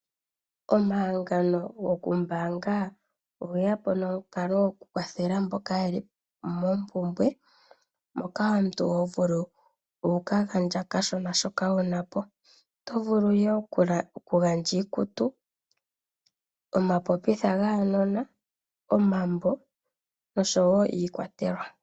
Omahangano gokumbaanga ogeya po nomukalo gokukwathela mboka yeli moompumbwe moka omuntu hovulu okugandja okashona hoka wunapo. Oto vulu wo okugandja iikutu, omapopitha gaanona, omambo osho wo iikwatelwa.